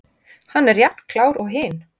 Hann er jafn klár og hin!